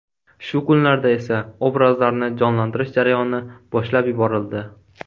Shu kunlarda esa obrazlarni jonlantirish jarayoni boshlab yuborildi.